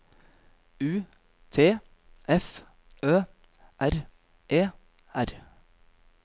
U T F Ø R E R